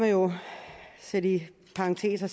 sætte i parentes og